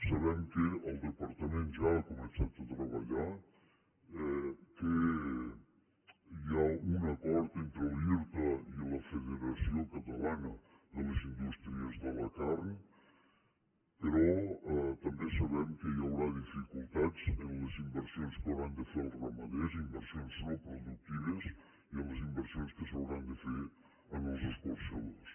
sabem que el departament ja ha començat a treballar que hi ha un acord entre l’irta i la federació catalana de les indústries de la carn però també sabem que hi haurà dificultats en les inversions que hauran de fer els ramaders inversions no productives i en les inversions que s’hauran de fer en els escorxadors